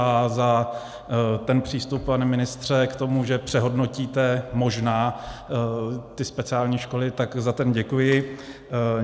A za ten přístup, pane ministře, k tomu, že přehodnotíte možná ty speciální školy, tak za ten děkuji.